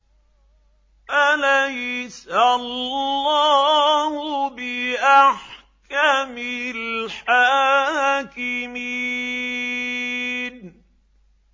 أَلَيْسَ اللَّهُ بِأَحْكَمِ الْحَاكِمِينَ